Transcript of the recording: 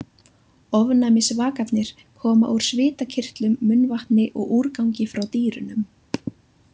Ofnæmisvakarnir koma úr svitakirtlum, munnvatni og úrgangi frá dýrunum.